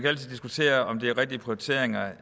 altid diskutere om det er rigtige prioriteringer